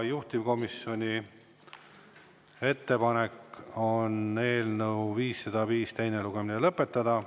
Juhtivkomisjoni ettepanek on eelnõu 505 teine lugemine lõpetada.